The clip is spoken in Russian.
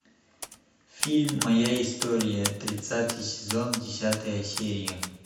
фильм моя история тридцатый сезон десятая серия